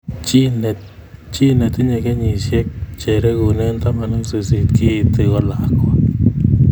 Chi netinye kenyisyek che regune taman ak sisit keiti ko lakwa